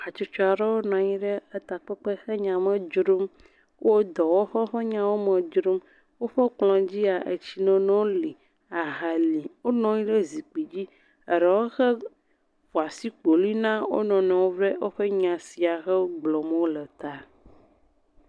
Hatsotso aɖewo nɔ anyi ɖe takpekpe he nya me dzrom. Wo dɔwɔƒe ƒe nyawo me dzrom. Woƒe kplɔ dzia etsinono li, aha li. Wonɔ anyi ɖe zikpui dzi. Eɖewo hã ƒo asikpolui na wo nɔnɔewo ɖe woƒe nya si gblɔm wole ta.